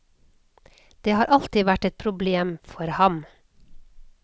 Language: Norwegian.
Det har alltid vært et problem for ham.